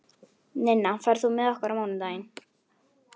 Ninna, ferð þú með okkur á mánudaginn?